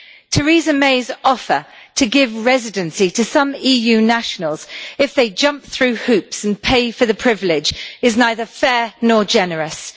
Theresa May's offer to give residency to some EU nationals if they jump through hoops and pay for the privilege is neither fair nor generous.